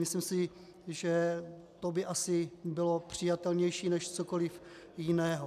Myslím si, že to by asi bylo přijatelnější než cokoliv jiného.